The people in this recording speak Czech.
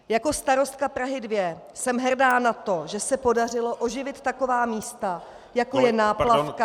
Jako starostka Prahy 2 jsem hrdá na to, že se podařilo oživit taková místa, jako je náplavka -